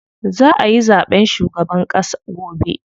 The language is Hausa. Za ayi zaɓen shugaban ƙass gobe.